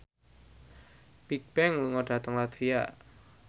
Bigbang lunga dhateng latvia